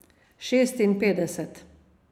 Šestinpetdeset.